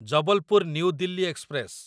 Jabalpur New Delhi express